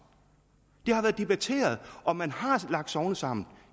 det har været debatteret og man har lagt sogne sammen